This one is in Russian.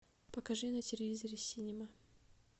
покажи на телевизоре синема